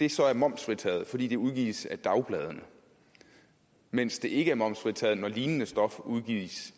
det så er momsfritaget fordi det udgives af dagbladene mens det ikke er momsfritaget når lignende stof udgives